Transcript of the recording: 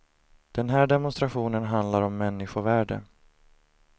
Den här demonstrationen handlar om människovärde.